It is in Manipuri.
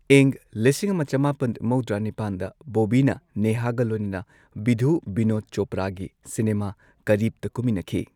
ꯏꯪ ꯂꯤꯁꯤꯡ ꯑꯃ ꯆꯃꯥꯄꯟ ꯃꯧꯗ꯭ꯔꯥ ꯅꯤꯄꯥꯟꯗ ꯕꯣꯕꯤꯅ ꯅꯦꯍꯥꯒ ꯂꯣꯏꯅꯅ ꯕꯤꯙꯨ ꯕꯤꯅꯣꯗ ꯆꯣꯄ꯭ꯔꯥꯒꯤ ꯁꯤꯅꯦꯃꯥ, ꯀꯔꯤꯕꯇ ꯀꯨꯝꯃꯤꯟꯅꯈꯤ꯫